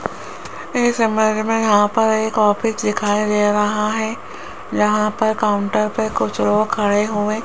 इस इमेज मे यहां पर एक ऑफिस दिखाई दे रहा है जहां पर काउंटर पे कुछ लोग खड़े हुए --